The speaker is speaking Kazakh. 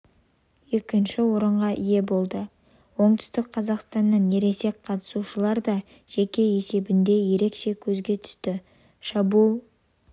екінші орынға ие болды оңтүстік қазақстаннан ересек қатысушылар да жеке есебінде ерекше көзге түсті шабуыл